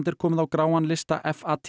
er komið á gráan lista